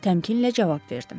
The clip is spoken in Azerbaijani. Təmkinlə cavab verdim.